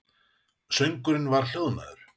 Söngurinn var hljóðnaður.